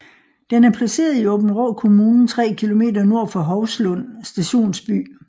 Den er placeret i Aabenraa Kommune 3 km nord for Hovslund Stationsby